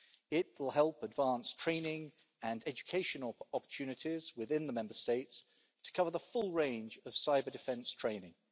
It will help advance training and educational opportunities within the Member States to cover the full range of cyber-defence training.